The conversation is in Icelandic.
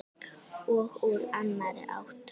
Og úr annarri átt.